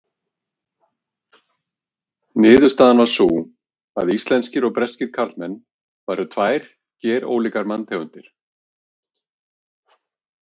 Niðurstaðan var sú að íslenskir og breskir karlmenn væru tvær gerólíkar manntegundir.